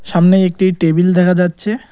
সামনেই একটি টেবিল দেখা যাচ্ছে।